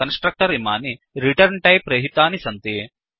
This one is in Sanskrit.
कन्स्ट्रक्टर् इमानि रिटर्न्¬टैप् रहितानि सन्ति